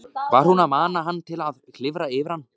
Var hún að mana hann til að klifra yfir hana?